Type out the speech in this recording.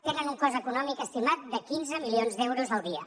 tenen un cost econòmic estimat de quinze milions d’euros al dia